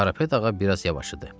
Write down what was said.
Karapet ağa biraz yavaşıdı.